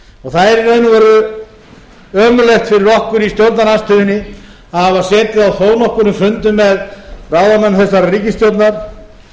hefur það er í raun og veru ömurlegt fyrir okkur í stjórnarandstöðunni að hafa setið á þó nokkrum fundum með ráðamönnum þessarar ríkisstjórnar